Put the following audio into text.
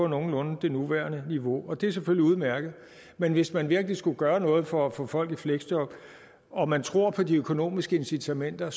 nogenlunde på det nuværende niveau og det er selvfølgelig udmærket men hvis man virkelig skulle gøre noget for at få folk i fleksjob og man tror på de økonomiske incitamenter